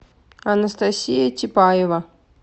анастасия типаева